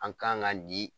An kan ka nin